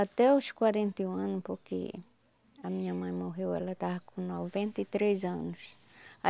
Até os quarenta e um ano, porque a minha mãe morreu, ela estava com noventa e três anos.